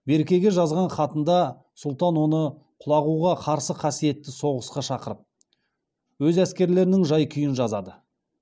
беркеге жазған хатында сұлтан оны құлағуға қарсы қасиетті соғысқа шақырып өз әскерлерінің жай күйін жазады